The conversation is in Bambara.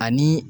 Ani